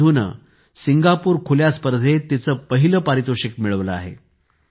सिंधूने सिंगापूर खुल्या स्पर्धेत तिचे पहिले पारितोषिक मिळविले आहे